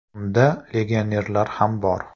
Unda legionerlar ham bor.